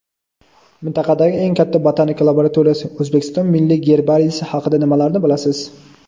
Mintaqadagi eng katta botanika laboratoriyasi – O‘zbekiston milliy gerbariysi haqida nimalarni bilasiz?.